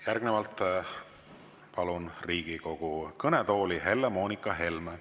Järgnevalt palun Riigikogu kõnetooli Helle‑Moonika Helme.